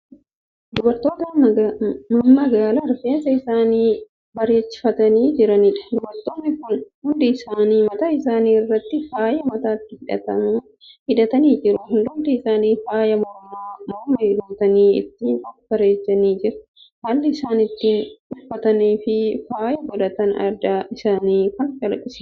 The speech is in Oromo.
Dubartoota mammagaala rifeensa isaanii bareechifatinii jiraniidha. dubartoonni Kun hundi isaanii mataa isaanii irraatti faaya mataatti hidhamu hidhatanii jiru. hundumti isaanii faaya mormaa morma guutanii ittiin of bareechanii jiru. haalli isaan itti uffataniifi faaya godhatan. aadaa isaanii Kan calaqqisiisudha.